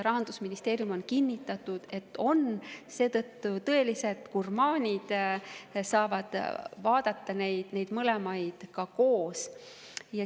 Rahandusministeerium on kinnitanud, et nad seda on, seetõttu saavad tõelised gurmaanid vaadata neid mõlemaid koos.